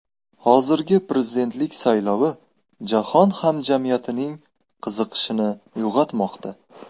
Hozirgi prezidentlik saylovi jahon hamjamiyatining qiziqishini uyg‘otmoqda.